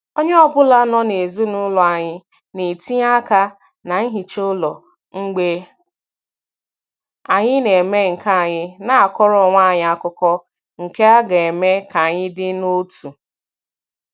Onye ọbụla n'ezinụlọ anyị na-etinye aka na nhicha ụlọ, mgbe anyị na-eme nkea anyị na-akọrọ onwe anyị akụkọ, nke a ga-eme k'anyi dị n'otu.